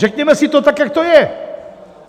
Řekněme si to tak, jak to je!